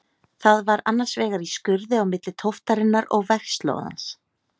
Það var annars vegar í skurði á milli tóftarinnar og vegslóðans.